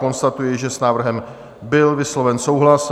Konstatuji, že s návrhem byl vysloven souhlas.